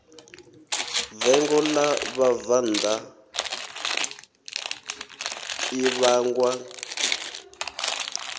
vengo ḽa vhabvannḓa ḽi vhangwa